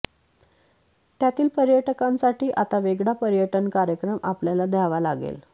त्यातील पर्यटकांसाठी आता वेगळा पर्यटन कार्यक्रम आपल्याला द्यावा लागेल